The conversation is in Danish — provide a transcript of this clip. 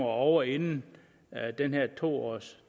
ovre inden den her to års